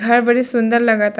घर बड़ी सुन्दर लगता --